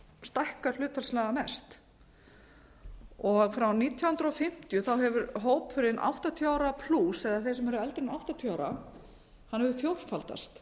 stækkar hlutfallslega mest frá nítján hundruð fimmtíu hefur hópurinn áttatíu eða þeir sem eru eldri en áttatíu ára fjórfaldast